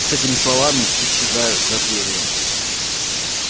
с этими словами исчезаю за дверью